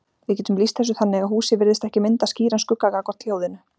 Við getum lýst þessu þannig að húsið virðist ekki mynda skýran skugga gagnvart hljóðinu.